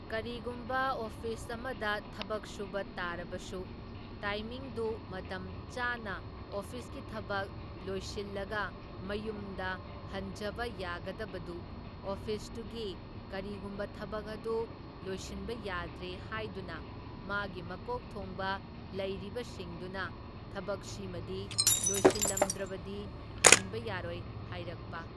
ꯀꯔꯤꯒꯨꯝꯕ ꯑꯣꯐꯤꯁ ꯑꯃꯗ ꯊꯕꯛ ꯁꯨꯕ ꯇꯥꯔꯕꯁꯨ ꯇꯥꯏꯃꯤꯡꯗꯨ ꯃꯇꯝ ꯆꯥꯅ ꯑꯣꯐꯤꯁꯀꯤ ꯊꯕꯛ ꯂꯣꯏꯁꯤꯜꯂꯒ ꯃꯌꯨꯝꯗ ꯍꯟꯖꯕ ꯌꯥꯒꯗꯕꯗꯨ ꯑꯣꯐꯤꯁꯇꯨꯒꯤ ꯀꯔꯤꯒꯨꯝꯕ ꯊꯕꯛ ꯑꯗꯨ ꯂꯣꯏꯁꯤꯟꯕ ꯌꯥꯗ꯭ꯔꯦ ꯍꯥꯏꯗꯨꯅ ꯃꯥꯒꯤ ꯃꯀꯣꯛ ꯊꯣꯡꯕ ꯂꯩꯔꯤꯕꯁꯤꯡꯗꯨꯅ ꯊꯕꯛꯁꯤꯃꯗꯤ ꯂꯣꯏꯁꯤꯜꯂꯝꯗ꯭ꯔꯕꯗꯤ ꯍꯟꯕ ꯌꯥꯔꯣꯏ ꯍꯥꯏꯔꯛꯄ꯫